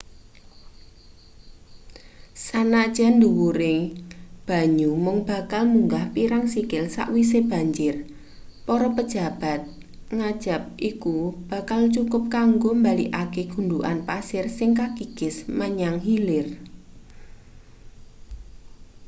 sanajan dhuwuring banyu mung bakal munggah pirang sikil sawise banjir para pejabat ngajab iku bakal cukup kanggo mbalikake gundhukan pasir sing kakikis menyang hilir